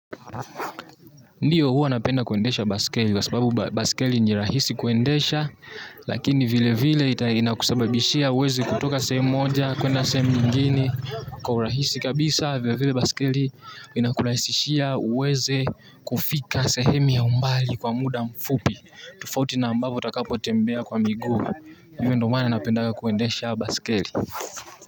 Ndiyo huwa napenda kuendesha baskeli kwa sababu baskeli ni rahisi kuendesha lakini vile vile ita inakusababishia uweze kutoka sehemu moja kuenda sehemu nyingine kwa urahisi kabisa vile vile baskeli inakurahisishia uweze kufika sehemu ya umbali kwa muda mfupi tofauti na ambapo utakapotembea kwa miguu hivyo ndo maana napenda kuendesha baskeli.